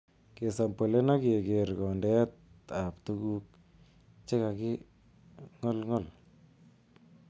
Kesampolen ak kegeer kondeetab tuguk che kakingolngol.